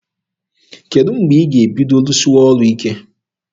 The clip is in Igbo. Kedụ mgbe ị ga-ebido rụsịwa ọrụ ike?